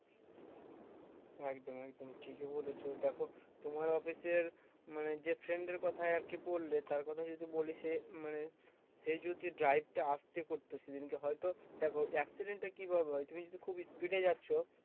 একদম একদম ঠিকই বলেছো দেখো তোমার office এর মানে যেই friend এর কথাই আর কি বললে তার কথা যদি বলি সে মানে সে যদি drive টা আস্তে করতো সে দিনকে হয়ত, দেখো accident টা কি ভাবে হয়ে তুমি যদি খুব speed এ যাচ্ছো